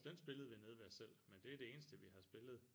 Så den spillede vi nede ved os selv men det er det eneste vi har spillet